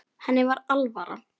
Henni var alvara.